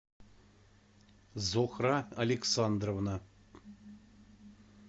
зухра александровна